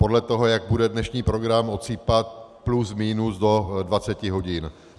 Podle toho, jak bude dnešní program odsýpat, plus minus do 20 hodin.